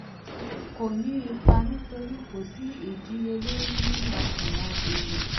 kò ní ipa nítorí kò sí ìdínniyẹlórí nínú àsunwon èrè.